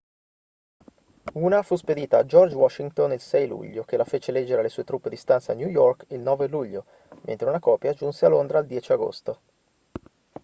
una fu spedita a george washington il 6 luglio che la fece leggere alle sue truppe di stanza a new york il 9 luglio mentre una copia giunse a londra il 10 agosto